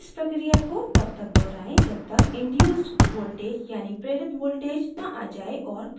इस प्रक्रिया को तब तक दोहराएँ जब तक induced voltage यानि प्रेरित voltage न आ जाये और प्रदर्शित न हो जाए